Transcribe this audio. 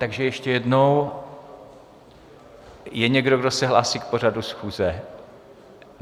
Takže ještě jednou - je někdo, kdo se hlásí k pořadu schůze?